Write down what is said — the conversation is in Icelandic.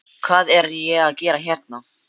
Hvað er ég að gera hérna?